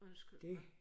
Undskyld mig